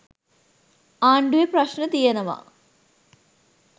ආණ්ඩුවේ ප්‍රශ්න තියෙනවා.